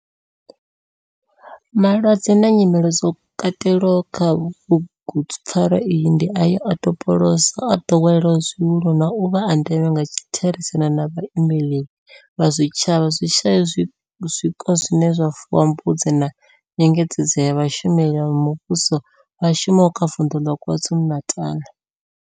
Malwadze na nyimele zwo katelwaho kha bugupfarwa iyi ndi ayo o topolwaho sa o doweleaho zwihulu na u vha a ndeme nga kha therisano na vhaimeleli vha zwitshavha zwi shayaho zwiko zwine zwa fuwa mbudzi na nyengedzedzo ya vhashumeli vha muvhusho vha shumaho kha Vundu la KwaZulu-Natal.